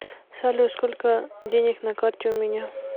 салют сколько денег на карте у меня